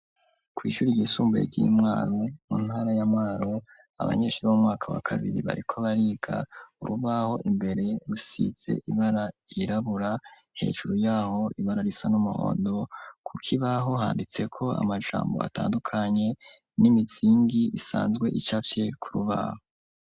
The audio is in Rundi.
Kw'ishure ryisumbuye ry'i Mwaro mu ntara ya Mwaro, abanyeshure b'umwaka wa kabiri bariko bariga urubaho imbere rusize ibara ryirabura hejuru yaho ibara risa n'umuhondo kukibaho handitseko amajambo atandukanye n'imizingi isanzwe icafye ku rubaho.